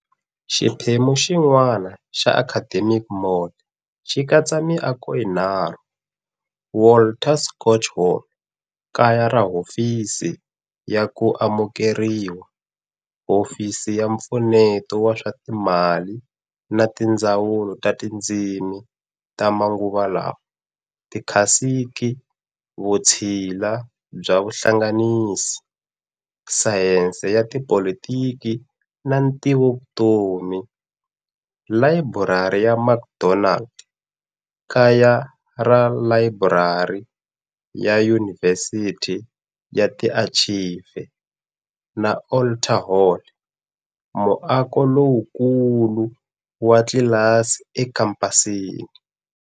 Xiphemu xin'wana xa Academic mall xi katsa miako yinharhu-Walter Schott Hall, kaya ra Hofisi ya ku Amukeriwa, Hofisi ya Mpfuneto wa swa Timali na Tindzawulo ta Tindzimi ta Manguvala, Tikhasiki, Vutshila bya Vuhlanganisi, Sayense ya Tipolitiki na Ntivovutomi, Layiburari ya McDonald, kaya ra Layiburari ya Yunivhesiti na Tiarchive, na Alter Hall, muako lowukulu wa tlilasi ekhampasini.